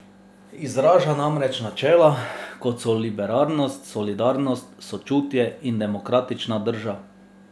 Izraža namreč načela, kot so libertarnost, solidarnost, sočutje in demokratična drža.